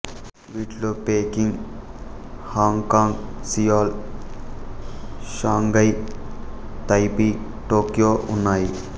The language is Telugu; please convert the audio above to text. వీటిలో Peking Hong Kong Seoul Shanghai Taipei Tokyo ఉన్నాయి